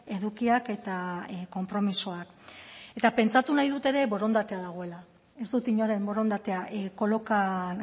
edukiak eta konpromisoak eta pentsatu nahi dut ere borondatea dagoela ez dut inoren borondatea kolokan